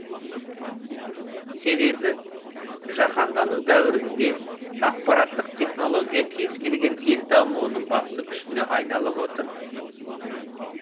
себебі жаһандану дәуірінде ақпараттық технология кез келген ел дамуының басты күшіне айналып отыр